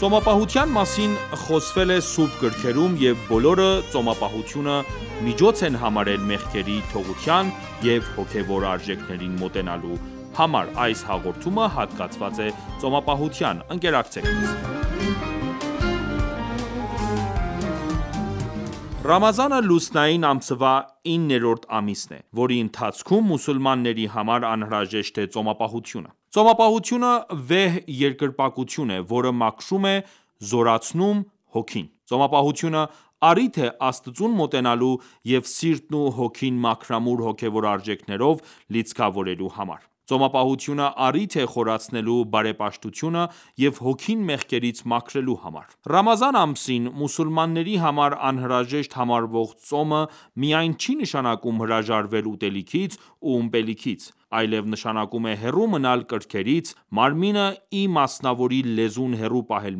Ծոմապահության մասին խոսվել է սուրբ գրքերում և բոլորը ծոմապահությունը միջոց են համարել մեղքերի թողության և հոգևոր արժեքներին մոտենալու համար: Ռամազանը, լուսնային ամսվա իններորդ ամիսն է, որի ընթացքում մուսուլմանների համար անհրաժեշտ է ծոմապահությունը:Ծոմապահությունը վեհ երկրպագություն է, որը մաքրում և զորացնում է հոգին: Ծոմապահությունը, առիթ է՝ Աստծուն մոտենալու և սիրտն ու հոգին մաքրամաքուր հոգևոր արժեքներով լիցքավորելու համար:Ծոմապահությունը առիթ է խորացնելու բարեպաշտությունը և հոգին մեղքերից մաքրելու համար:Ռամազան ամսին, մուսուլմանների համար անհրաժեշտ համարվող ծոմը ,միայն չի նշանակում հրաժարվել ուտելիքից ու ըմպելիքից, այլև նշանակում է հեռու մնալ կրքերից ,մարմինը ի մասնավորի լեզուն հեռու պահել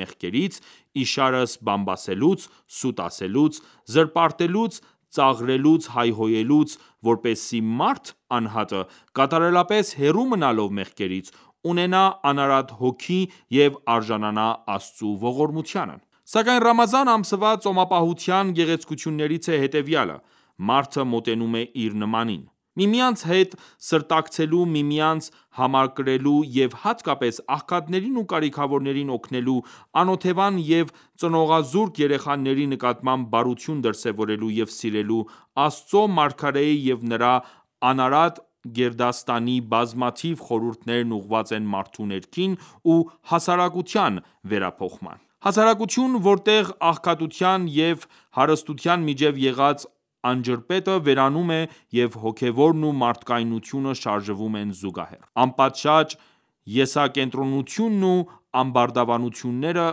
մեղքերից, իշարս՝ բամբասելուց, սուտ ասելուց, զրպարտելուց, ծաղրելուց ,հայհոյելուց, որպեսզի մարդ անհատը կատարելապես հեռու մնալով մեղքերից ,ունենա անարատ հոգի և արժանանա Աստծու ողորմությանն: Սակայն, Ռամազան ամսվա ծոմապահության գեղեցկություններից է հետևյալը ՝ մարդը մոտենում է իր նմանին: Միմյանց հետ սրտակցելու ,միմյանց համակրելու և հատկապես աղքատներին ու կարիքավորներին օգնելու, անօթևան և ծնողազուրկ երեխաների նկատմամբ բարություն դրսևորելու և սիրելու Աստծո Մարգարեի և նրա անարատ գերդաստանի բազմաթիվ խորհուրդներն ուղղված են մարդու ներքին ու հասարակության վերափոխման։ Հասարակություն, որտեղ աղքատության և հարստության միջև եղած անջրպետը վերանում է և հոգևորն ու մարդկայնությունը շարժվում են զուգահեռ :Անպատշաճ եսակենտրոնությունն ու ամբարտավանությունները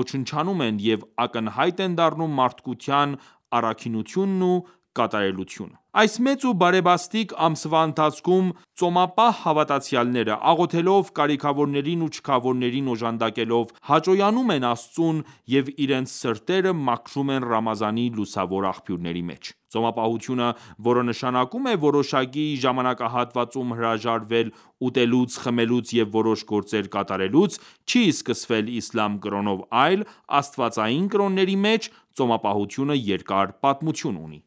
ոչնչանում են, և ակնհայտ են դառնում մարդկային առաքինությունն ու կատարելությունը:Այս մեծ ու բարեբաստիկ ամսվա ընթացքում, ծոմապահ հավատացյալները ,աղոթելով, կարիքավորներին ու չքավորներին օժանդակելով, հաճոյանում են Աստծուն և իրենց սրտերը մաքրում են Ռամազանի լուսավոր աղբյուրների մեջ: Ծոմապահությունը, որը նշանակում է ՝որոշակի ժամանակահատվածում հրաժարվել ուտելուց, խմելուց և որոշ գործեր կատարելուց, չի սկսվել Իսլամ կրոնով ,այլ աստվածային կրոնների մեջ ծոմապահությունը երկար պատմություն ունի: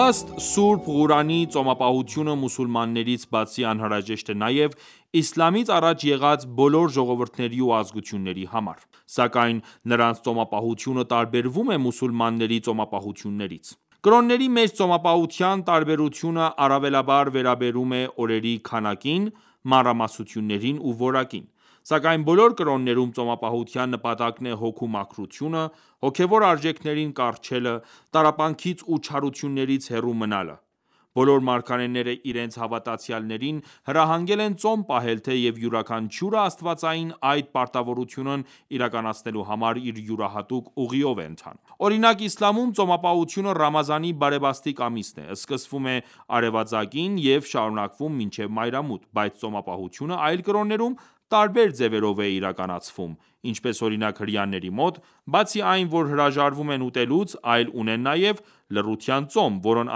Ըստ Սուրբ Ղուրանի՝ ծոմապահությունը մուսուլմաններից բացի անհրաժեշտ է նաև իսլամից առաջ եղած բոլոր ժողովուրդների ու ազգությունների համար: Սակայն ,նրանց ծոմապահությունը տարբերվում է մուսուլմանների ծոմապահությունից:Կրոնների մեջ ծոմապահության տարբերությունը առավելաբար վերաբերում է օրերի քանակին, մանրամասնություններին ու որակին: Սակայն բոլոր կրոններում, ծոմապահության նպատակն է հոգու մաքրությունը, հոգևոր արժեքներին կառչելը ,տառապանքներից ու չարություններից հեռու մնալը:Բոլոր մարգարեները իրենց հավատացյալներին հրահանգել են ծոմ պահել, թեև յուրաքանչյուրը աստվածային այդ պարտավորությունն իրականացնելու համար իր յուրահատուկ ուղիով է ընթանում: Օրինակ ՝ իսլամում ,ծոմապահությունը Ռամազանի բարեբաստիկ ամսին է ։ Սկսվում է արևածագին և շարունակվում մինչև մայրամուտ, բայց ծոմապահությունը այլ կրոններում, տարբեր ձևերով է իրականացվում ,ինչպես օրինակ հրեաների մոտ, բացի այն որ հրաժարվում են ուտելուց ,այլ ունեն նաև լռության ծոմ, որն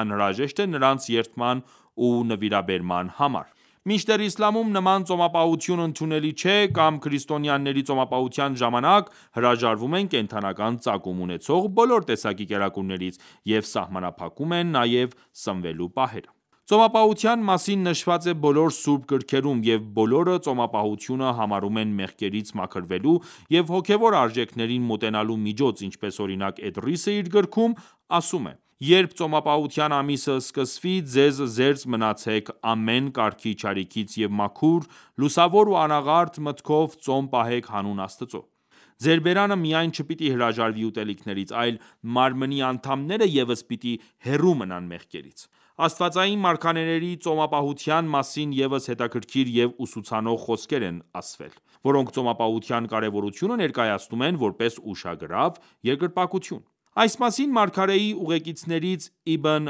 անհրաժեշտ է նրանց երդման ու նվիրաբերման համար: Մինչդեռ Իսլամում նման ծոմապահություն ընդունելի չէ :Կամ քրիստոնյաները ծոմապահության ժամանակ, հրաժարվում են կենդանական ծագում ունեցող բոլոր տեսակի կերակուրներից, և սահմանափակում են նաև սնվելու պահերը: Ծոմապահության մասին նշված է բոլոր սուրբ գրքերում և բոլորը ծոմապահությունը համարում են մեղքերից մաքրվելու և հոգևոր արժեքներին մոտենալու միջոց: Ինչպես օրինակ Էդրիսը իր գրքում ասում է.«Երբ ծոմապահության ամիսը սկսվի ,ձեզ զերծ մնացեք ամեն կարգի չարիքից և մաքուր ,լուսավոր ու անաղարտ մտքով ծոմ պահեք հանուն Աստծու: Ձեր բերանը միայն չպիտի հրաժարվի ուտելիքներից ,այլ մարմնի անդամները ևս պիտի հեռու մնան մեղքերից»: Աստվածային մարգարեների ծոմապահության մասին ևս հետաքրքիր և ուսուցանող խոսքեր են ասվել ,որոնք ծոմապահության կարևորությունը ներկայացնում են ,որպես ուշագրավ երկրպագություն: Այս մասին մարգարեի ուղեկիցներից Իբն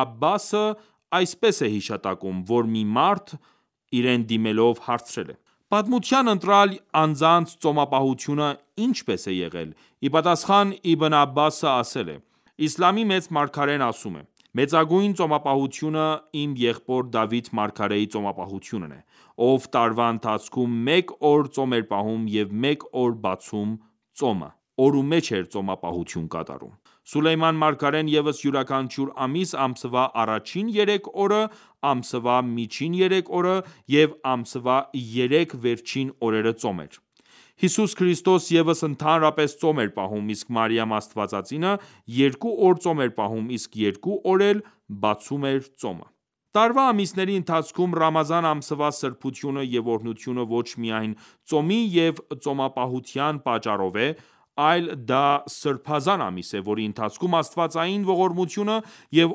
Աբբասը այսպես է հիշատակում, որ մի մարդ իրեն դիմելով հարցրել է.«Պատմության ընտրյալ անձանց ծոմապահությունը ի՞նչպես է եղել:Ի պատասխան, Իբն Աբբասը ասել է.«Իսլամի մեծ մարգարեն ասում է.«Մեծագույն ծոմապահությունը իմ եղբոր Դավիթ մարգարեի ծոմապահությունն է ,ով տարվա ընթացքում մեկ օր ծոմ էր պահում և մեկ օր բացում ծոմը (օրումեջ էր ծոմապահություն կատարում),Սուլեյման մարգարեն ևս յուրաքանչյուր ամիս ,ամսվա առաջին երեք օրը ,ամսվա միջին երեք օրը և ամսվա երեք վերջին օրերը ծոմ էր, Յիսուս Քրիստոս ևս ընդհանրապես ծոմ էր պահում ,իսկ Մարիամ Աստվածածինը երկու օր ծոմ էր պահում ,իսկ երկու օր էլ բացում էր ծոմը»: Տարվա ամիսների ընթացքում Ռամազան ամսվա սրբությունը և օրհնությունը ոչ միայն ծոմի և ծոմապահության պատճառով է, այլ դա սրբազան ամիս է ,որի ընթացքում Աստվածային ողորմությունը և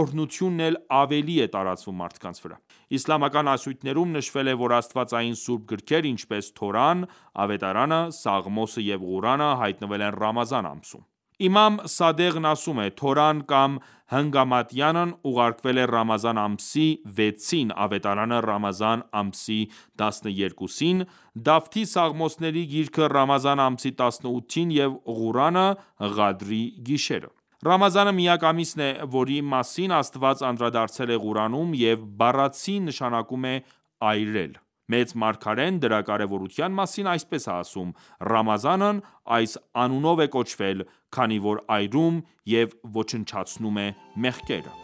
օրհնությունը էլ ավելի է տարածվում մարդկանց վրա: Իսլամական ասույթներում նշվել է ,որ Աստվածային սուրբ գրքեր, ինչպես՝Թորան, Ավետարանը, Սաղմոսը և Ղուրանը հայտնվել են Ռամազան ամսին:Իմամ Սադեղն ասում է.«Թորան կամ Հնգամատյանն ուղարկվել է Ռամազան ամսի 6-ին, Ավետարանը ՝Ռամազան ամսի 12-ին, Դավթի Սաղմոսների գիրքը՝ Ռամազան ամսի 18-ին և Ղուրանը ՝Ղադրի գիշերը»: Ռամազանը միակ ամիսն է ,որի մասին Աստված անդրադարձել է Ղուրանում և բառացի նշանակում է այրել: Մեծ մարգարեն դրա կարևորության մասին այսպես է ասում.«Ռամազանն այս անունով է կոչվել ,քանի որ այրում և ոչնչացնում է մեղքերը»: